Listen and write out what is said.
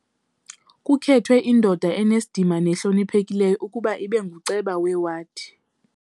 Kukhethwe indoda enesidima nehloniphekileyo ukuba ibe nguceba wawadi.